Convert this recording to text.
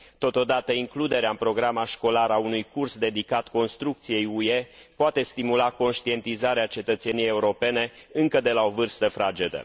Totodată, includerea în programa școlară a unui curs dedicat construcției UE poate stimula conștientizarea cetățeniei europene încă de la o vârstă fragedă.